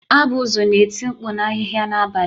Abuzu na-eti mkpu na ahịhịa n'abalị.